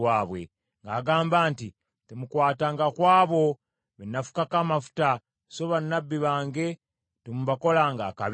ng’agamba nti, “Temukwatanga ku abo be nnafukako amafuta, so bannabbi bange temubakolanga akabi.”